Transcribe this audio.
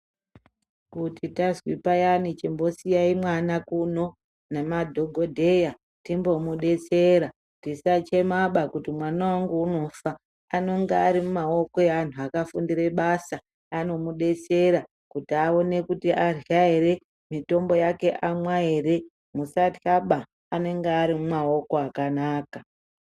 Kuti twazopayane chimbosiyai mwana kuno namadhokodheya tiambomubetsera tisachemaba kuti mwana wangu unofa anonga ari mumaoko evantu vakafundire basa anomubetsera kuti aone kuti adya here, mitombo yake anwa hre musatyaba anonga arimumaoko akanaka.